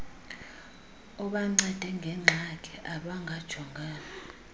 abancede ngengxaki abangajongana